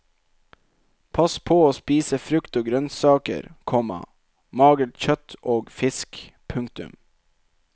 Pass på å spise frukt og grønnsaker, komma magert kjøtt og fisk. punktum